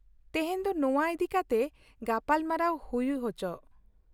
ᱛᱮᱦᱮᱧ ᱫᱚ ᱱᱚᱶᱟ ᱤᱫᱤᱠᱟᱛᱮ ᱜᱟᱯᱟᱞᱢᱟᱨᱟᱣ ᱦᱩᱭ ᱚᱪᱚᱜ ᱾